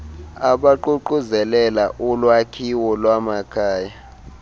abaququzelela ulwakhiwo lwamakhaya